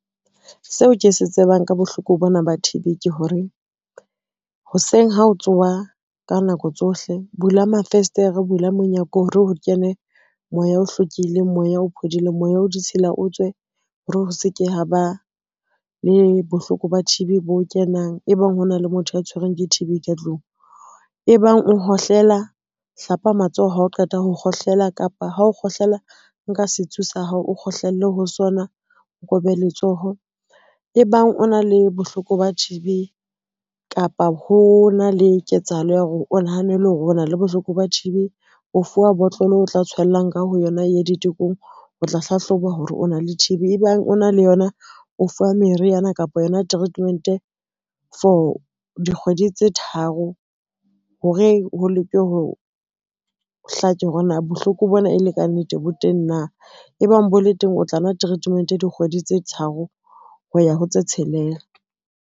Seo ke se tsebang ka bohloko bona ba T_B ke hore, hoseng ha o tsoha ka nako tsohle bula mafestere, bula monyako hore o kene moya o hlwekileng, moya o phodileng, moya o ditshila o tswe hore ho se ke ha ba le bohloko ba T_B bo kenang, e bang hona le motho a tshwerweng ke T_B ka tlung. E bang o hohlela, hlapa matsoho ha o qeta ho kgohlela kapa hao kgohlela, nka sitsu sa hao o kgohlelle ho sona, o kobe letsoho. E bang o na le bohloko ba T_B kapa ho na le ketsahalo ya hore o nahanele hore ona le bohloko ba T_B, o fuwa botlolo o tla tshwellang ka ho yona e ye ditekong, o tla hlahloba hore o na le T_B e bang o na le yona o fuwa meriana kapa yona treatment for dikgwedi tse tharo, hore ho hlake hore na bohloko bona e le kannete bo teng na, e bang bo le teng o tla nwa treatment dikgwedi tse tharo, ho ya ho tse tshelela.